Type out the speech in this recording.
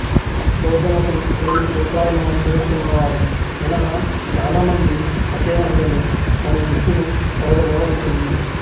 బౌద్ధమతం ఎనిమిది సూత్రాలను అనుసరిస్తున్న వారు మినహా చాలా మంది ఫకే మహిళలు తమ జుట్టును పొడవుగా ఉంటుంది